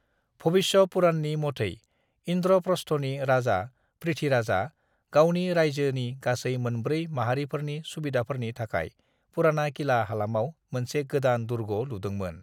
भविष्य पुराणनि मथै इन्द्रप्रस्थनि राजा पृथ्वीराजा गावनि रायजोनि गासै मोनब्रै माहारिफोरनि सुबिदाफोरनि थाखाय पुराना किला हालामाव मोनसे गोदान दुर्ग लुदोंमोन।